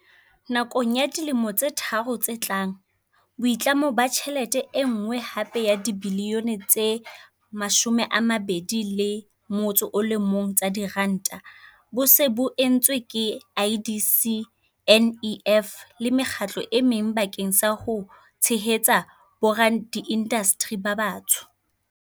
Nakong ya dilemo tse tharo tse tlang, boitlamo ba tjhelete e nngwe hape ya dibilione tse 21 tsa diranta bo se bo entswe ke IDC, NEF le mekgatlo e meng bakeng sa ho tshehetsa boradiindasteri ba batsho.